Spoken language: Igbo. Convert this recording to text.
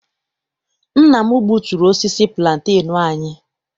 Nna m gbuturu osisi pulantenu anyị.